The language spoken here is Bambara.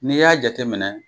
Nini y'a jateminɛ